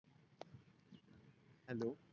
hello